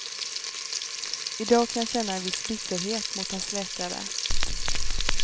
I dag kan jag känna en viss bitterhet mot hans läkare.